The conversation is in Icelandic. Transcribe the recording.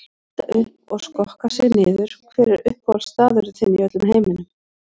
Hita upp og skokka sig niður Hver er uppáhaldsstaðurinn þinn í öllum heiminum?